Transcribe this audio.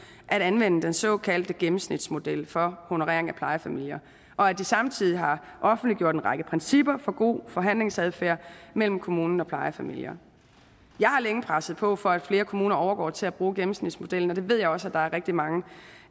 at anvende den såkaldte gennemsnitsmodel for honorering af plejefamilier og at de samtidig har offentliggjort en række principper for god forhandlingsadfærd mellem kommuner og plejefamilier jeg har længe presset på for at flere kommuner overgår til at bruge gennemsnitsmodellen og det ved jeg også at der er rigtig mange